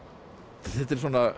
þetta er